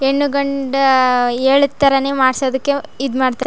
ಹೆಣ್ಣು ಗಂಡ ಹೇಳಿದ್ ತರಾನೇ ಮಾಡಿಸೋದಕ್ಕೆ ಇದ್ ಮಾಡ್ತಾರೆ.